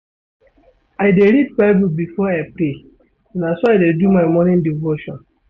I dey read Bible before I pray, na so I dey do my morning devotion.